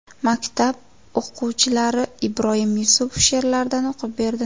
Maktab o‘quvchilari Ibroyim Yusupov she’rlaridan o‘qib berdi.